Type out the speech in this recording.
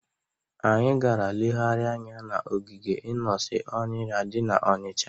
Anyị gara legharịa anya n'ogige Inosi Ọnịra dị n'Ọnịcha.